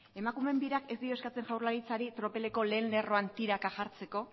emakumeen birak ez dio eskatzen jaurlaritzari tropeleko lehen lerroan tiraka jartzeko